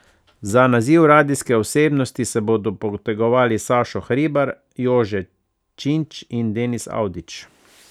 Za naziv radijske osebnosti se bodo potegovali Sašo Hribar, Jože Činč in Denis Avdić.